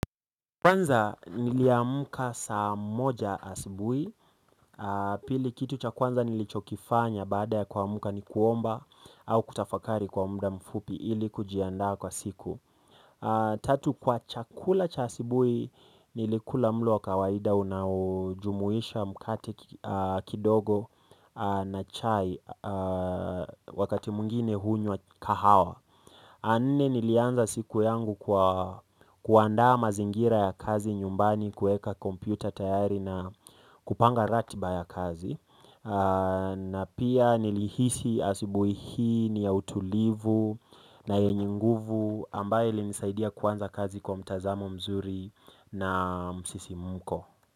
Kwanza niliamka saa moja asubuhi aah pili kitu cha kwanza nilichokifanya baada ya kuamka ni kuomba au kutafakari kwa muda mfupi ili kujiandaa kwa siku tatu kwa chakula cha asubuhi nilikula mlo wa kawaida unaojumuisha mkate kidogo na chai wakati mwingine hunywa kahawa ya nne nilianza siku yangu kwa kuandaa mazingira ya kazi nyumbani kuqeka kompyuta tayari na kupanga ratiba ya kazi na pia nilihisi asubuhi hii ni ya utulivu na yenye nguvu ambayo ilinisaidia kuanza kazi kwa mtazamo mzuri na msisimuko.